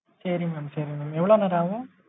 செரிங்க mam சேரிங்க mam எவ்வளோ நேரம் ஆகும்?